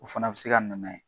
O fana be se ka na n'a ye.